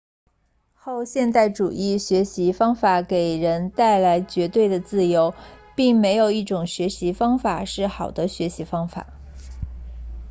后现代主义学习方法给人带来绝对的自由并没有一种学习方法是好的学习方法